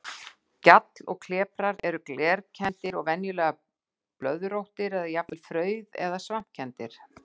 Gjall og kleprar eru glerkenndir og venjulega blöðróttir eða jafnvel frauð- eða svampkenndir.